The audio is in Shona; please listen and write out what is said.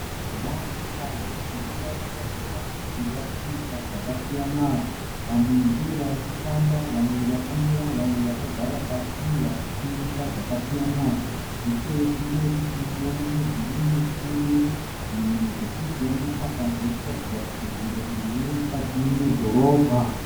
Vanhu vazhinji varikuratidza kuti varikuita zvakasiyana. Vamwe ndivo varikufamba, vamwe vakamira, vamwe vakagara pasi varikutengesa zvakasiyana. Nechekumberi tirikuona mudhuri mukuru, zvinhu zvatirikuona apa zviri kuratidza kuti nzvimbo iyi iri mukati medhorobha.